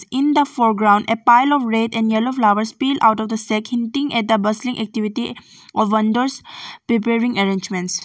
In the foreground a pile of red and yellow flowers peel out of the second thing at the bustling activity of wonders preparing arrangements.